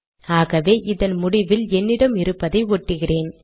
ஆகவே இதன் முடிவில் என்னிடம் இருப்பதை ஒட்டுகிறேன்